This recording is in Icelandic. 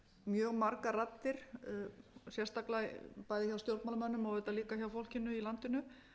mjög margar raddir sérstaklega bæði hjá stjórnmálamönnum og auðvitað líka hjá fólkinu í landinu